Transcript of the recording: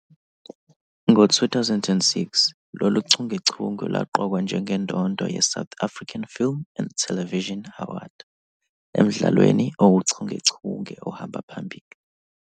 Ngo-2006 lolu chungechunge lwaqokwa njengendondo yeSouth African Film and Television Award emdlalweni owuchungechunge ohamba phambili.